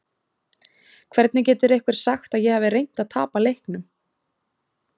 Hvernig getur einhver sagt að ég hafi reynt að tapa leiknum?